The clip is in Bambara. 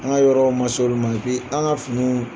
An ka yɔrɔw ma so olu ma an ka finiw